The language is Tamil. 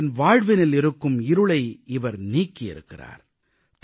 அவர்களின் வாழ்வினில் இருக்கும் இருளை இவர் நீக்கியிருக்கிறார்